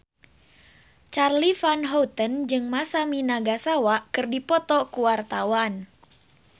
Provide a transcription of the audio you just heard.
Charly Van Houten jeung Masami Nagasawa keur dipoto ku wartawan